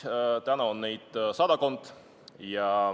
Praegu on neid sadakond.